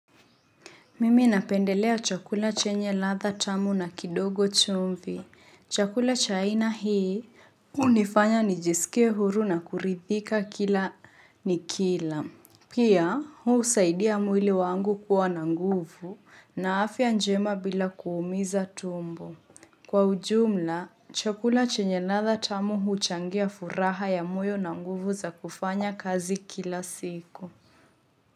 Mimi napendelea chakula chenye ladha tamu na kidogo chumvi. Chakula cha aina hii hunifanya nijisikie huru na kuridhika kila nikila. Pia, husaidia mwili wangu kuwa na nguvu na afya njema bila kuumiza tumbo. Kwa ujumla, chakula chenye ladha tamu huchangia furaha ya moyo na nguvu za kufanya kazi kila siku.